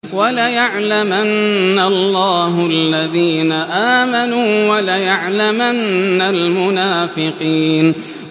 وَلَيَعْلَمَنَّ اللَّهُ الَّذِينَ آمَنُوا وَلَيَعْلَمَنَّ الْمُنَافِقِينَ